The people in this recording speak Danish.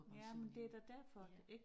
Jamen det da derfor ik